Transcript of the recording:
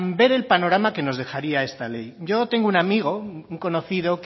ver el panorama que nos dejaría esta ley yo tengo un amigo un conocido